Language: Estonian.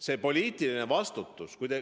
See poliitiline vastutus ...